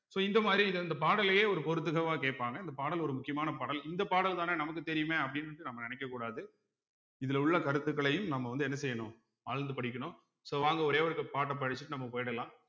so இந்த மாதிரி இது அந்த பாடலையே ஒரு பொருத்துக வா கேப்பாங்க இந்த பாடல் ஒரு முக்கியமான பாடல் இந்த பாடல் தானே நமக்கு தெரியுமே அப்படீன்னு நம்ம நினைக்கக் கூடாது இதுல உள்ள கருத்துக்களையும் நம்ம வந்து என்ன செய்யணும் ஆழ்ந்து படிக்கணும் so வாங்க ஒரே ஒருக்க பாட்டை படிச்சுட்டு நம்ம போயிடலாம்